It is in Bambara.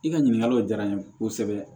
I ka ɲininkaliw diyara n ye kosɛbɛ